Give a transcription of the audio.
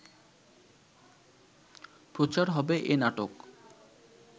প্রচার হবে এ নাটক